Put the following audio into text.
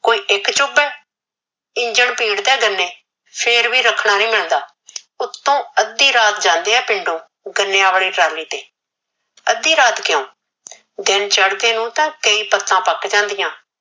ਕੋਈ ਇਕ ਚੁਬ ਏ ਇੰਜਣ ਪੀੜਦਾ ਏ ਗਨੇ ਫੇਰ ਵੀ ਰਖਣਾ ਨੀ ਮਿਲਦਾ ਉਤੋ ਅਧੀ ਰਾਤ ਜਾਂਦੇ ਏ ਪਿੰਡੋ ਗਨਿਆ ਵਾਲੇ ਟਰਾਲੇ ਤੇ ਅਧੀ ਰਾਤ ਕਿਉ ਦਿਨ ਚੜਦੇ ਨੂ ਤਾ ਕਈ ਪਤਾ ਪਕ ਜਾਂਦੀਆ